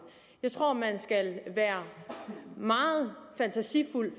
jeg tror man skal være meget fantasifuld